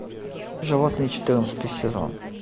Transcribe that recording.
животные четырнадцатый сезон